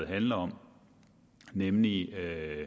handler om nemlig